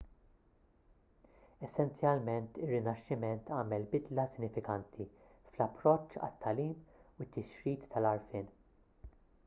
essenzjalment ir-rinaxximent għamel bidla sinifikanti fl-approċċ għat-tagħlim u t-tixrid tal-għarfien